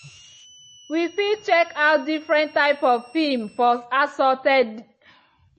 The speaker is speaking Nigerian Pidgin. we fit check out different type of film for assorted.